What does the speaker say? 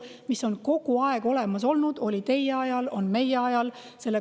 See on kogu aeg olemas olnud, oli teie ajal ja on meie ajal.